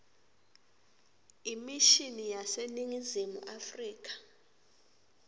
imishini yaseningizimu afrika